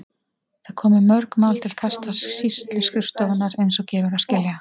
Það komu mörg mál til kasta sýsluskrifstofunnar eins og gefur að skilja.